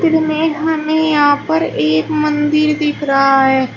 इसमें हमें यहां पर एक मंदिर दिख रहा है।